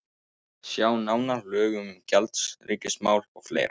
Sjá nánar: Lög um gjaldeyrismál og fleira.